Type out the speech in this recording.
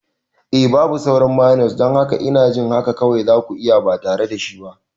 Eh, babu sauran mayones, don haka ina jin haka kawai za ku yi ba tare da shi ba.